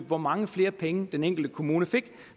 hvor mange flere penge den enkelte kommune fik